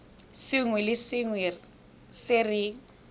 sengwe le sengwe se re